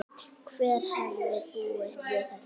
Hver hefði búist við þessu??